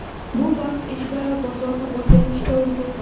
Bu vaqt ichida bozorni o‘rganishga ulgurdim.